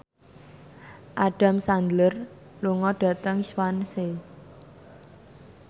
Adam Sandler lunga dhateng Swansea